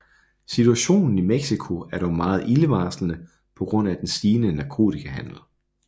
Situationen i Mexico er dog meget ildevarslende på grund af den stigende narkotikahandel